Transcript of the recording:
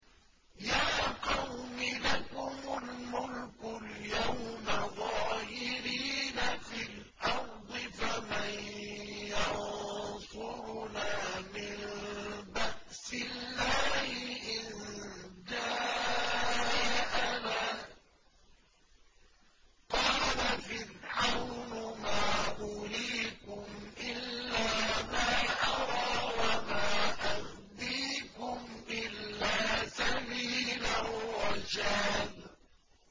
يَا قَوْمِ لَكُمُ الْمُلْكُ الْيَوْمَ ظَاهِرِينَ فِي الْأَرْضِ فَمَن يَنصُرُنَا مِن بَأْسِ اللَّهِ إِن جَاءَنَا ۚ قَالَ فِرْعَوْنُ مَا أُرِيكُمْ إِلَّا مَا أَرَىٰ وَمَا أَهْدِيكُمْ إِلَّا سَبِيلَ الرَّشَادِ